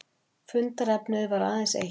Fundarefnið var aðeins eitt